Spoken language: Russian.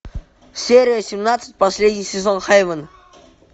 серия семнадцать последний сезон хейвен